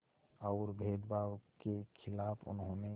और भेदभाव के ख़िलाफ़ उन्होंने